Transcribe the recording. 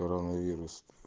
коронавирус